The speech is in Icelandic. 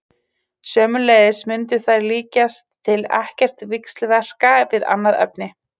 Sömuleiðis mundu þær líkast til ekkert víxlverka við annað efni.